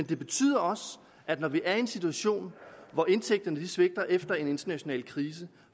betyder også at når vi er i en situation hvor indtægterne svigter efter en international krise